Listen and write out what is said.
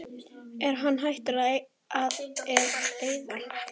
Er hann hættur að eyða?